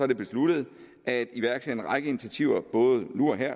det besluttet at iværksætte en række initiativer nu og her